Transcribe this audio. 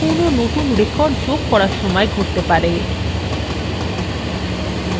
যা কোনো নতুন record যোগ করার সময় ঘটতে পারে